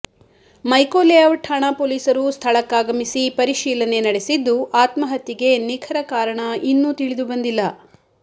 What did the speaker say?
ಮೈಕೋಲೇಔಟ್ ಠಾಣಾ ಪೋಲೀಸರು ಸ್ಥಳಕ್ಕಾಗಮಿಸಿ ಪರಿಶೀಲನೆ ನಡೆಸಿದ್ದು ಆತ್ಮಹತ್ಯೆಗೆ ನಿಖರ ಕಾರಣ ಇನ್ನೂ ತಿಳಿದುಬಂದಿಲ್ಲ